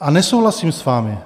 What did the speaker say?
A nesouhlasím s vámi.